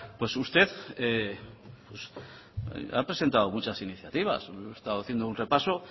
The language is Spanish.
pues usted ha presentado muchas iniciativas he estado haciendo un repaso